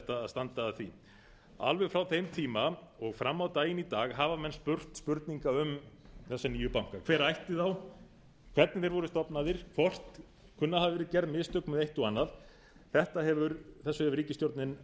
standa að því alveg frá þeim tíma og fram á daginn í dag hafa menn spurt spurninga um þessa nýju banka hver ætti þá hvernig þeir voru stofnaðir hvort kunna að hafa verið gerð mistök með eitt og annað þessu hefur ríkisstjórnin